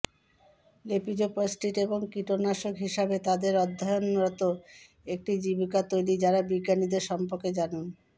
লেপিজোপস্টিস্ট এবং কীটনাশক হিসাবে তাদের অধ্যয়নরত একটি জীবিকা তৈরি যারা বিজ্ঞানীদের সম্পর্কে জানুন